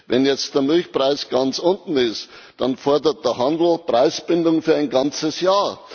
Wenn jetzt der Milchpreis ganz unten ist, dann fordert der Handel Preisbindung für ein ganzes Jahr.